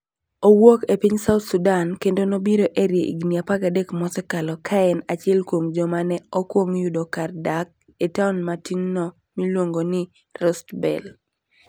Owuok e piny South Sudan, kendo nobiro Erie higini 13 mosekalo ka en achiel kuom joma ne okwong yudo kar dak e taon matinno miluongo ni Rust Belt.